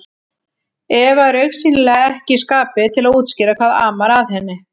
Eva er augsýnilega ekki í skapi til að útskýra hvað amar að henni.